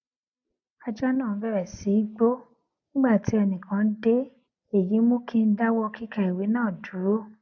ajá náà bèrè sí í gbó nígbà tí ẹnì kan dé èyí mú kí n dáwó kíka ìwé náà dúró